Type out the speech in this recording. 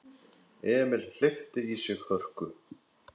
Emil hleypti í sig hörku.